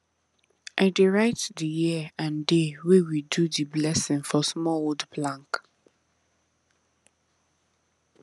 i dey write the year and day wey we do the blessing for small wood plank